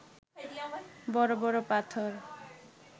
বড় বড় পাথর